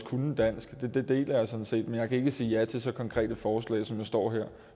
kunne dansk men jeg kan ikke sige ja til så konkrete forslag som der står her